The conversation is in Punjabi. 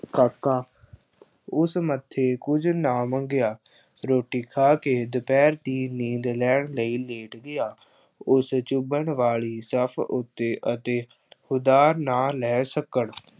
ਕਾਕਾ ਉਸ ਮੱਥੇ ਕੁੱਝ ਨਾ ਮੰਗਿਆ। ਰੋਟੀ ਖਾ ਕੇ ਦੁਪਹਿਰ ਦੀ ਨੀਂਦ ਲੈਣ ਲਈ ਲੇਟ ਗਿਆ। ਉਸ ਚੁਭਣ ਵਾਲੀ ਜੱਫ ਉੱਤੇ ਅਤੇ ਉਧਾਰ ਨਾ ਲੈ ਸਕਣ